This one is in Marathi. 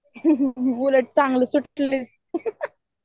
उलट चांगलं सुट्टी ING